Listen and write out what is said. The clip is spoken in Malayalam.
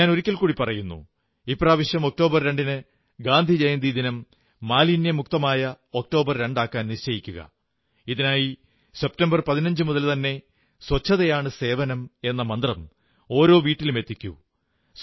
ഞാൻ ഒരിക്കൽകൂടി പറയുന്നു ഇപ്രാവശ്യം ഒക്ടോബർ 2 ന് ഗാന്ധിജയന്തി ദിനം മാലിന്യമുക്തമായ ഒക്ടോബർ 2 ആക്കാൻ നിശ്ചയിക്കുക ഇതിനായി സെപ്റ്റംബർ 15 മുതൽതന്നെ സ്വച്ഛതയാണു സേവനം എന്ന മന്ത്രം ഓരോ വീട്ടിലും എത്തിക്കൂ